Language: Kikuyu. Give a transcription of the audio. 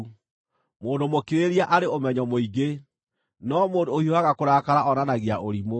Mũndũ mũkirĩrĩria arĩ ũmenyo mũingĩ, no mũndũ ũhiũhaga kũrakara onanagia ũrimũ.